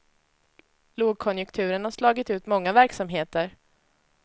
Lågkonjunkturen har slagit ut många verksamheter.